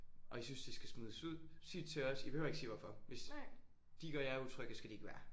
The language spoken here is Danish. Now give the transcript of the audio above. Og I synes de skal smides ud sig det til os I behøver ikke sige hvorfor. Hvis de gør jer utrygge skal de ikke være her